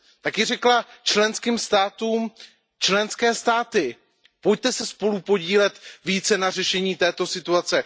Taky řekla členským státům Členské státy, pojďte se spolu podílet více na řešení této situace.